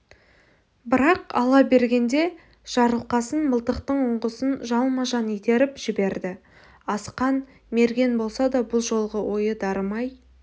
бірақ ала бергенде жарылқасын мылтықтың ұңғысын жалма-жан итеріп жіберді асқан мерген болса да бұл жолғы оғы дарымай